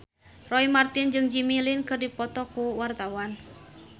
Roy Marten jeung Jimmy Lin keur dipoto ku wartawan